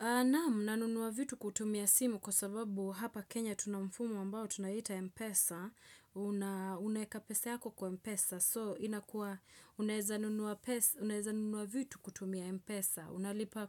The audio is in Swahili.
Naam, nanunua vitu kutumia simu kwa sababu hapa Kenya tuna mfumo ambao tunaita Mpesa. Unaeka pesa yako kwa Mpesa. So, inakuwa, unaeza nunua vitu kutumia Mpesa. Unalipa